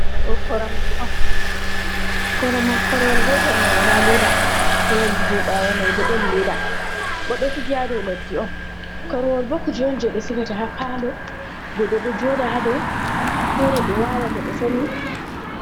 Ɗo Koromje'on, Koromon Korowal Gotel mai wola leda. Korwol je ɓawo mai bo ɗon Leda. bo ɗo Sigi'on dou Laddi. Korwolbo kuje'on je ɓe Sigata ha Palo Godɗo ɗo joda ha dou, Fere ɓe wala to ɓe Somi.